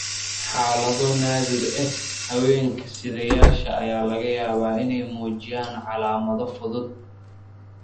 Xaalado naadir ah, haweenka sidayaasha ah ayaa laga yaabaa inay muujiyaan calaamado fudud.